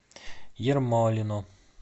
ермолино